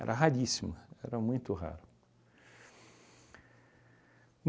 raríssimo, era muito raro.